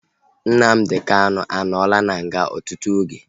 Nnamdi Kanu anọla na nga ọtụtụ oge